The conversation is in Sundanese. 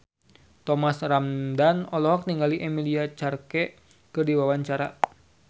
Thomas Ramdhan olohok ningali Emilia Clarke keur diwawancara